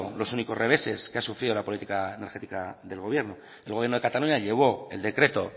los únicos reveses que han sufrido la política energética del gobierno el gobierno de cataluña llevó el decreto